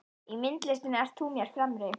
Í myndlistinni ert þú mér fremri.